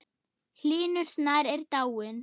Hlynur Snær er dáinn.